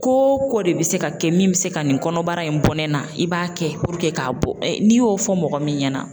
Ko ko de bɛ se ka kɛ min bɛ se ka nin kɔnɔbara in bɔɛ na i b'a kɛ k'a bɔ n'i y'o fɔ mɔgɔ min ɲɛna